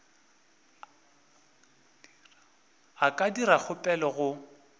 a ka dira kgopelo go